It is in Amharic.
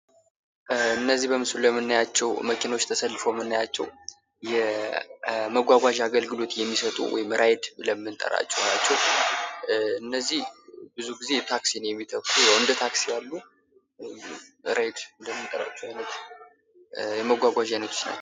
እነዚህ በምስሉ ላይ ተሰልፈው የምናያቸው የተሽከርካሪ አይነቶች ራይድ ብለን የምንጥራቸው የመጓጓዣ አይነቶች ናቸው ፤ እነዚህ ብዙ ጊዜ እንደ ታክሲ ያሉ ራይድ ብለን የምንጠራቸው ናቸው።